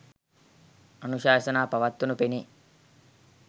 අනුශාසනා පවත්වනු පෙනේ.